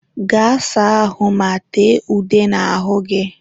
Gaa saa ahụ ma tee ude n'ahụ gị!